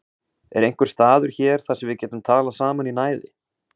Er einhver staður hér þar sem við getum talað saman í næði?